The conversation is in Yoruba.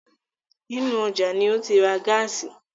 Inú ọjá ní ó ti ra gáàsì.